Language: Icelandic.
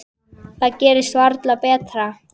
Það gerist varla betra.